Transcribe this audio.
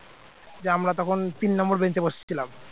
দিয়ে আমরা তখন তিন number bench বসে ছিলাম